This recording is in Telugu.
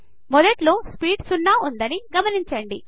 మొదట్లో స్పీడ్ సున్న ఉందని గమనించండి